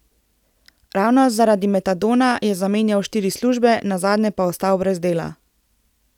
Ravno zaradi metadona je zamenjal štiri službe, nazadnje pa ostal brez dela.